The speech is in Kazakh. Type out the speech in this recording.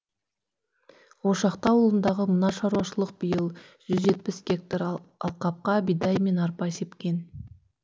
ошақты ауылындағы мына шаруашылық биыл жүз жетпіс гектар алқапқа бидай мен арпа сепкен